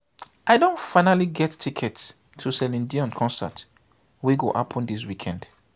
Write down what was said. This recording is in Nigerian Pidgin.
i don finally get ticket to celine dion concert wey go happen dis weekend